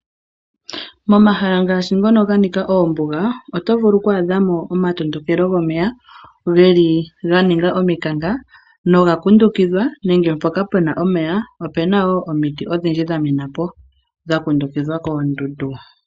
Momahala ngaashi ngono ganika oombuga, oto vulu okwaadhamo omatondokelo gomeya, geli ga ninga ominkanka, noga kundukidhwa, nenge mpoka pena omeya, opuna wo omiti odhindji dhamena po, dha kundukidhwa koondundu.